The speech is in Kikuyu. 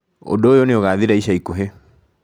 Ũndũ ũyũ nĩ ũgaathira icaikuhĩ.